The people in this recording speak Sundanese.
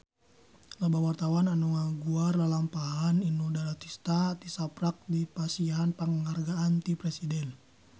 Loba wartawan anu ngaguar lalampahan Inul Daratista tisaprak dipasihan panghargaan ti Presiden